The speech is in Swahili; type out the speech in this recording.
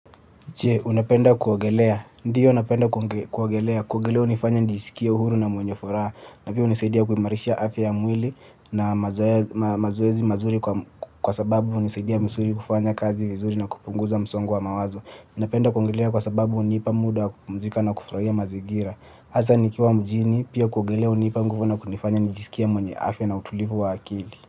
Je, unapenda kuogelea. Ndiyo napenda kuogelea. Kuogelea unifanya nijisikie uhuru na mwenye furaha. Na pia unisaidia kuimarisha afya ya mwili na mazoea mazoezi mazuri kwa sababu hunisaidia msuli kufanya kazi vizuri na kupunguza msongo wa mawazo. Napenda kuogelea kwa sababu hunipa muda wa kupumzika na kufurahia mazingira. Hasa nikiwa mjini, pia kuogelea hunipa mguvu na kunifanya nijisikie mwenye afya na utulivu wa akili.